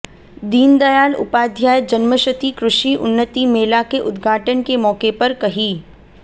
दीनदयाल उपाध्याय जन्मशती कृषि उन्नति मेला के उद्घाटन के मौके पर कही